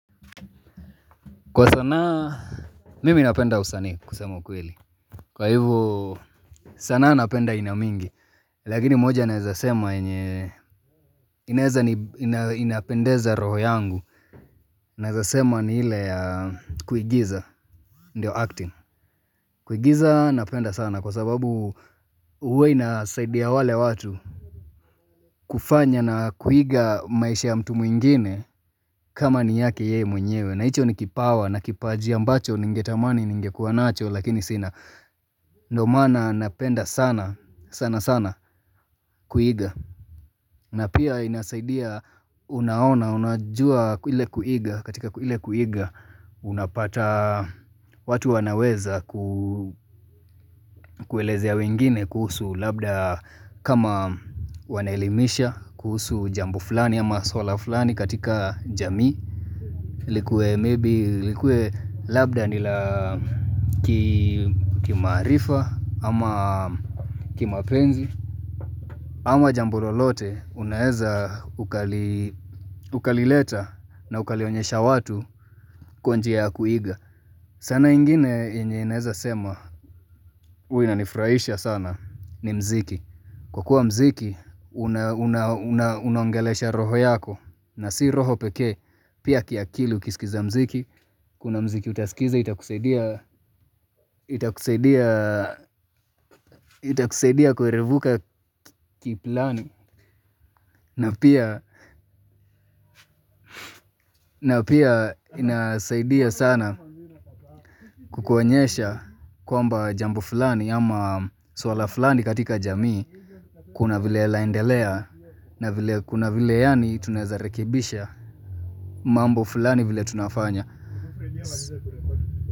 Kwa sanaa, mimi napenda usani kusema ukweli. Kwa hivyo, sana napenda aina mingi. Lakini moja naweza sema yenye, inaweza ni inapendeza roho yangu. Naweza sema ni ile ya kuigiza, ndio acting. Kuigiza napenda sana kwa sababu huwa inasaidi ya wale watu. Kufanya na kuiga maisha ya mtu mwingine kama ni yake yeye mwenyewe. Nahicho ni kipawa na kipajia mbacho ningetamani ningekuwa nacho lakini sina Ndio maana napenda sana sana sana kuiga na pia inasaidia unaona unajua ile kuiga katika ile kuiga Unapata watu wanaweza kueleze ya wengine kuhusu labda kama wanelimisha kuhusu jambo fulani ama swala fulani katika jamii likue maybe likue labda nilakimaarifa ama kimapenzi ama jambo lolote unaeza ukali ukalileta na ukalionyesha watu kwa njia ya kuiga, saana ingine yenye ninaeza sema huwa inanifurahisha sana ni mziki kwa kuwa mziki unangelesha roho yako na si roho pekee Pia kiakili ukiskiza mziki Kuna mziki utasikiza itakusaidia itakusaidia itakusaidia kuerevuka kiplani na pia na pia inasaidia sana kukuonyesha kwamba jambo fulani ama swala fulani katika jamii Kuna vile laendelea na vile kuna vile yani tunawezarekibisha mambo fulani vile tunafanya.